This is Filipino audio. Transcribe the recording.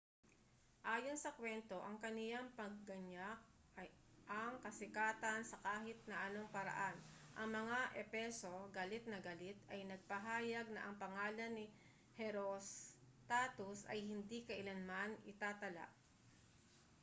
ayon sa kwento ang kaniyang pangganyak ay ang kasikatan sa kahit na anong paraan ang mga efeso galit na galit ay nagpahayag na ang pangalan ni herostatus ay hindi kailanman itatala